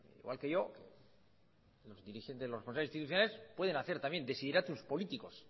igual que yo los dirigentes pueden hacer también desideratus políticos